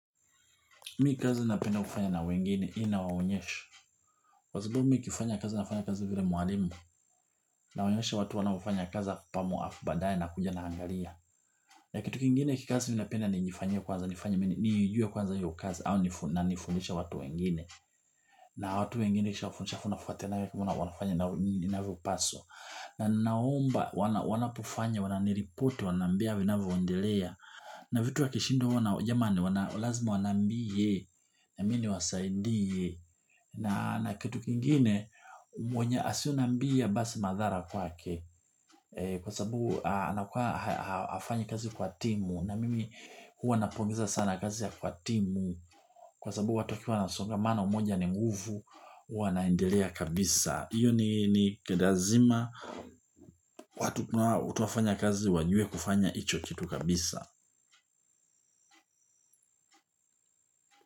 Mi kazi napenda kufanya na wengine ninawaonyesha. Kwa sababu mi nikifanya kazi nafanya kazi vile mwalimu. Nawaonyesha watu wanaofanya kazi pamoja alafu baadae nakuja naangalia na kitu kingine kikazi, napenda nijifanyie kwanza mwenyewe ili nijue hiyo kazi, halafu niwafundishe watu wengine. Na watu wengine kisha wafundisha funafuatena ya kifuna wanafanya na inavyopaswa. Na naomba wanapofanya wananiripoti wananiambia vinavyoendelea. Na vitu wakishindwa huwa nao jamani wana lazima wanambie nami niwasaidie na kitu kingine mwenye aso nambia basi madhara kwake kwa sabu hafanyi kazi kwa timu na mimi huwa napongeza sana kazi ya kwa timu kwa sababu watu wakiwa na songamano moja ni nguvu huwa naendelea kabisa iyo ni kedazima watu kuna watu wafanya kazi wajue kufanya icho kitu kabisa.